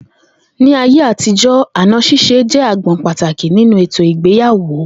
Ní ayé àtijó̩, àna s̩ís̩e jé̩ agbo̩n pàtàkì nínú ètò ìgbéyàwò